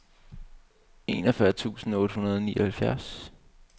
enogfyrre tusind otte hundrede og nioghalvfjerds